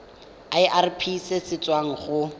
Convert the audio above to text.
irp se se tswang go